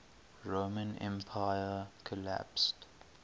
roman empire collapsed